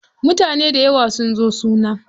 Mutane dayawa sun zo suna.